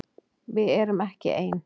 Við erum ekki ein!